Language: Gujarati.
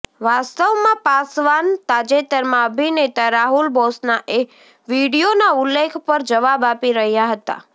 વાસ્તવમાં પાસવાન તાજેતરમાં અભિનેતા રાહુલ બોસના એ વીડિયોના ઉલ્લેખ પર જવાબ આપી રહ્યા હતા